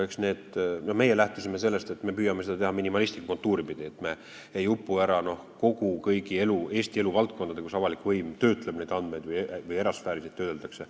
Meie lähtusime sellest, et me püüame seda teha minimalistlikku kontuuri pidi, et me ei upuks ära, tahtes arvestada kõiki Eesti elu valdkondi, kus avalik võim neid andmeid töötleb või kus neid erasfääris töödeldakse.